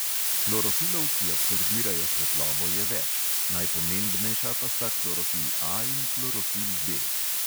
Klorofilov, ki absorbirajo svetlobo, je več, najpomembnejša pa sta klorofil A in klorofil B.